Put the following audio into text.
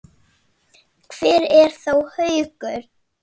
Hvar er þá Haukur?